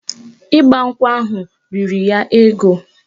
Ịgbankwụ ahụ riri ya ego